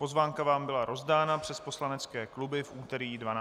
Pozvánka vám byla rozdána přes poslanecké kluby v úterý 12. dubna.